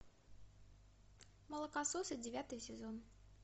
молокососы девятый сезон